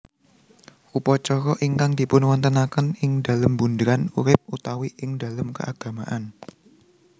Upacara ingkang dipunwontenaken ingdalem bunderan urip utawi ingdalem keagamaan